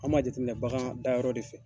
An m'a jateminɛ bagan dayɔrɔ de fɛ.